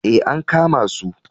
Ee, an kama su.